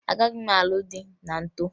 Agaghị m alụ di ma m too